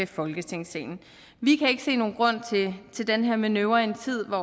folketingssalen vi kan ikke se nogen grund til den her manøvre i en tid hvor